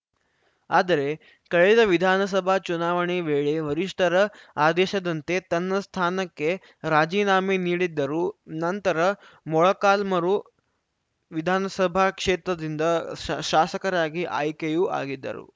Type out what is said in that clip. ಆದರೆ ಕಳೆದ ವಿಧಾನಸಭಾ ಚುನಾವಣೆ ವೇಳೆ ವರಿಷ್ಠರ ಆದೇಶದಂತೆ ತನ್ನ ಸ್ಥಾನಕ್ಕೆ ರಾಜಿನಾಮೆ ನೀಡಿದ್ದರು ನಂತರ ಮೊಳಕಾಲ್ಮರು ವಿಧಾನಸಭಾ ಕ್ಷೇತ್ರದಿಂದ ಶಾಸ್ ಶಾಸಕರಾಗಿ ಆಯ್ಕೆಯೂ ಆಗಿದ್ದರು